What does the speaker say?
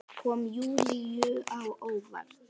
Kom Júlíu á óvart.